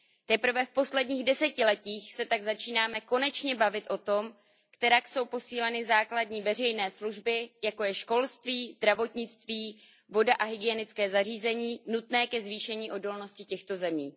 Teprve v posledních desetiletích se tak začínáme konečně bavit o tom, kterak jsou posíleny základní veřejné služby, jako jsou školství, zdravotnictví, voda a hygienická zařízení, nutné ke zvýšení odolnosti těchto zemí.